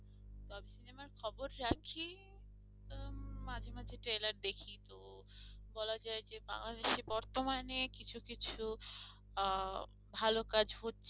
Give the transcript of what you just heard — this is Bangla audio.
মাঝে মাঝে trailer দেখি তো বলা যায় যে বাংলাদেশে বর্তমানে কিছু কিছু আহ ভালো কাজ হচ্ছে